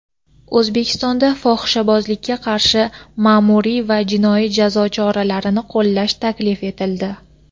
O‘zbekistonda fohishabozlikka qarshi ma’muriy va jinoiy jazo choralarini qo‘llash taklif etildi.